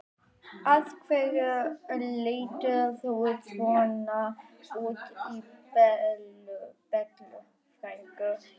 Af hverju lætur þú svona út í Bellu frænku?